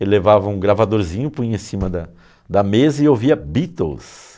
Ele levava um gravadorzinho, punha em cima da da mesa e ouvia Beatles.